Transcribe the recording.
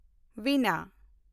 ᱵᱤᱱᱟ